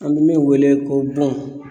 An bɛ min wele ko bon